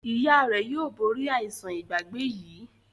ìyá rẹ yóò bori aisan Ìgbàgbé yí.